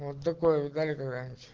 вот такое видали когда нибудь